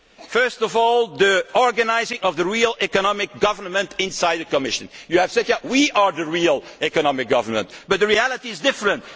First of all, the organisation of the real economic government inside the Commission. You have said here that we are the real economic government, but the reality is different.